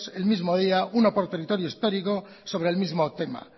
el mismo día uno por territorio histórico sobre el mismo tema